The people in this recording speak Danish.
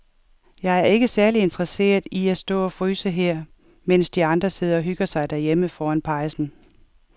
Jeg er ikke særlig interesseret i at stå og fryse her, mens de andre sidder og hygger sig derhjemme foran pejsen.